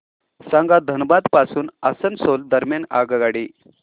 सांगा धनबाद पासून आसनसोल दरम्यान आगगाडी